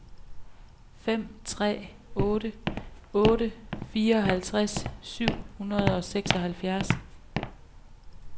fem tre otte otte fireoghalvtreds syv hundrede og seksoghalvfjerds